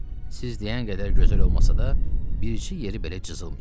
Siz deyən qədər gözəl olmasa da, birçi yeri belə cızılmayıb.